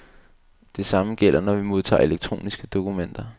Det samme gælder, når vi modtager elektroniske dokumenter.